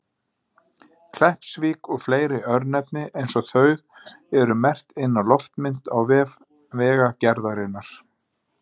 Kleppsvík og fleiri örnefni eins og þau eru merkt inn á loftmynd á vef Vegagerðarinnar.